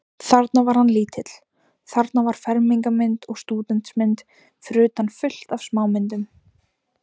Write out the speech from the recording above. Sé ég heftir því að hafa leikið fyrir einungis eitt félag?